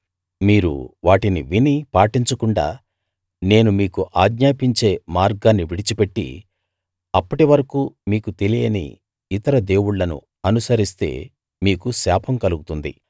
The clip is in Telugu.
మీరు వాటిని విని పాటించకుండా నేను మీకు ఆజ్ఞాపించే మార్గాన్ని విడిచిపెట్టి అప్పటివరకూ మీకు తెలియని ఇతర దేవుళ్ళను అనుసరిస్తే మీకు శాపం కలుగుతుంది